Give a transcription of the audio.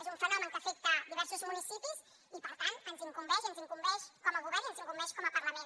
és un fenomen que afecta diversos municipis i per tant ens incumbeix i ens incumbeix com a govern i ens incumbeix com a parlament